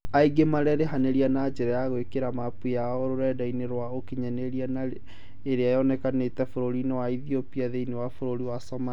Angĩ marerĩhanĩirie na njĩra ya gwikĩra mapu yao rũrenda-inĩ rwa ũkinyanĩria na ĩrĩa yonanĩtie burũri wa Ethiopia thĩinĩ wa burũri wa Somalia